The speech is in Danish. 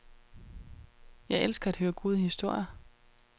Jeg elsker at høre gode historier.